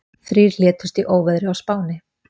Þrír létust í óveðri á Spáni